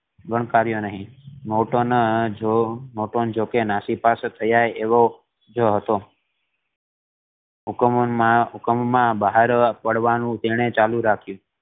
ગણકાર્યો નહિ નોર્ટન જો જોકે નાસી પાસે થઇ જાય એવો એવોજ હતો હુકુમમાં હુકુમમાં બહાર પાડવાનું તેણે ચાલુ રાખ્યું